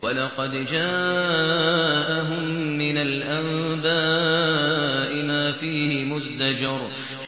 وَلَقَدْ جَاءَهُم مِّنَ الْأَنبَاءِ مَا فِيهِ مُزْدَجَرٌ